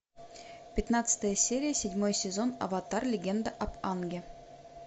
пятнадцатая серия седьмой сезон аватар легенда об аанге